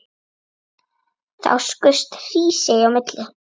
Þá skaust Hrísey á milli.